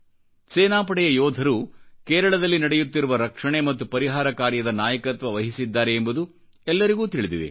ಸೇನಾಪಡೆಯ ಯೋಧರು ಕೇರಳದಲ್ಲಿ ನಡೆಯುತ್ತಿರುವ ರಕ್ಷಣೆ ಮತ್ತು ಪರಿಹಾರ ಕಾರ್ಯದ ನಾಯಕತ್ವ ವಹಿಸಿದ್ದಾರೆ ಎಂಬುದು ಎಲ್ಲರಿಗೂ ತಿಳಿದಿದೆ